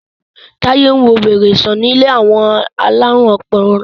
Taye nwọ wèrè sàn ní ilé àwọn alarun ọpọlọ.